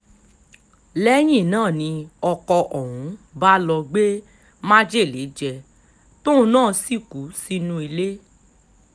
lẹ́yìn náà ni ọkọ̀ ọ̀hún bá lọ́ọ́ gbé májèlé jẹ tóun náà sì kú sínú ilé